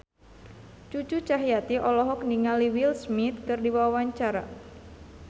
Cucu Cahyati olohok ningali Will Smith keur diwawancara